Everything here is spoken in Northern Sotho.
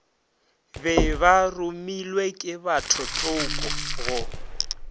be baromilwe ke bathotsoko go